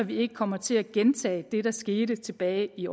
vi ikke kommer til at gentage det der skete tilbage i